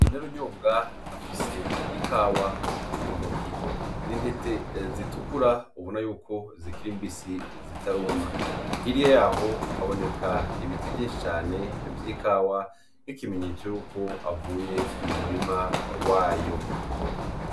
Inarunyonga afise ikawa mu ntoke, ni intete zitukura ubona yuko zikiri mbisi zitaruma, hiriya yaho haboneka ibiti vyinshi cane vy'ikawa nk'ikimenyetso yuko avuye mu murima wayo.